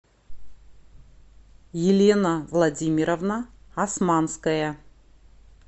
елена владимировна османская